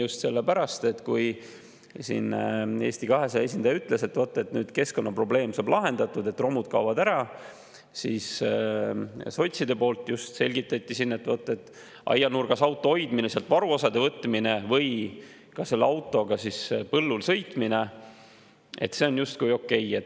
Just sellepärast, et kui Eesti 200 esindaja ütles, et vot nüüd keskkonnaprobleem saab lahendatud, romud kaovad ära, siis sotside poolt just selgitati siin, et aianurgas auto hoidmine, sealt varuosade võtmine või ka selle autoga põllul sõitmine on justkui okei.